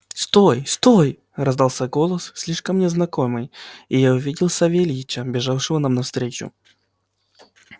стой стой раздался голос слишком мне знакомый и я увидел савельича бежавшего нам навстречу